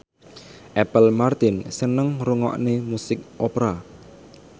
Apple Martin seneng ngrungokne musik opera